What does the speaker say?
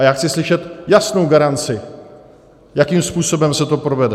A já chci slyšet jasnou garanci, jakým způsobem se to provede.